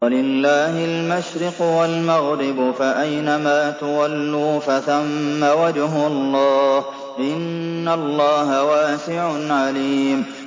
وَلِلَّهِ الْمَشْرِقُ وَالْمَغْرِبُ ۚ فَأَيْنَمَا تُوَلُّوا فَثَمَّ وَجْهُ اللَّهِ ۚ إِنَّ اللَّهَ وَاسِعٌ عَلِيمٌ